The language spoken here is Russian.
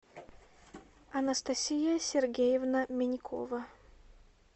анастасия сергеевна минькова